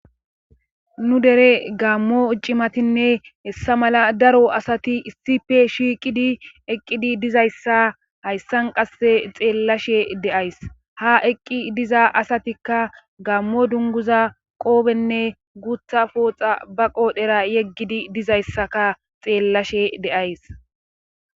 nu dere gaammo uccimatinne hessa mala daro asati issife shiiqidi eqqidi dizayssa hayssan qasse xeellashe deays ha eqqi diza asatikka gammo dunguza qoobenne gutha pooxa ba qoodhera yeggidi dizayssaka xeellashe deays